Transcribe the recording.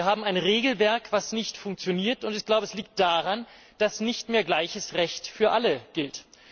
Wir haben ein Regelwerk, das nicht funktioniert, und ich glaube es liegt daran, dass nicht mehr gleiches Recht für alle gilt.